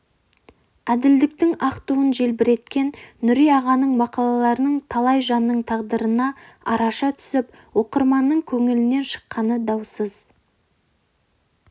әділдіктің ақ туын желбіреткен нүри ағаның мақалаларының талай жанның тағдырына араша түсіп оқырманның көңілінен шыққаны даусыз